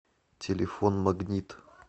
телефон магнит